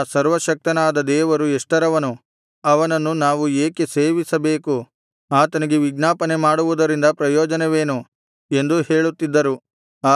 ಆ ಸರ್ವಶಕ್ತನಾದ ದೇವರು ಎಷ್ಟರವನು ಆತನನ್ನು ನಾವು ಏಕೆ ಸೇವಿಸಬೇಕು ಆತನಿಗೆ ವಿಜ್ಞಾಪನೆ ಮಾಡುವುದರಿಂದ ಪ್ರಯೋಜನವೇನು ಎಂದೂ ಹೇಳುತ್ತಿದ್ದರು